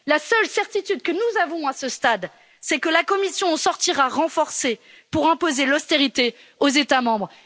La seule certitude que nous avons à ce stade, c'est que la Commission en sortira renforcée pour imposer l'austérité aux États membres.